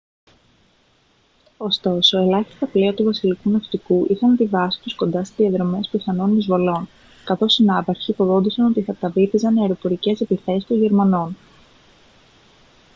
ωστόσο ελάχιστα πλοία του βασιλικού ναυτικού είχαν τη βάση τους κοντά σε διαδρομές πιθανών εισβολών καθώς οι ναύαρχοι φοβόντουσαν ότι θα τα βύθιζαν αεροπορικές επιθέσεις των γερμανών